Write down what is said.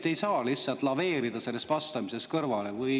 Te ei saa lihtsalt vastamisest kõrvale laveerida.